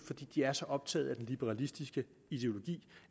de er så optaget af den liberalistiske ideologi